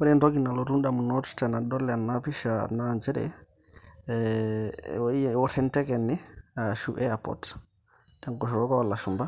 Ore entoki nalotu indamunot teadol ena pisha naa nchere, eeor enteke ene ashu airport tenkutuk olashumba.